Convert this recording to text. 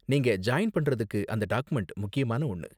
நீங்க ஜாயின் பண்றதுக்கு அந்த டாக்குமெண்ட் முக்கியமான ஒன்னு.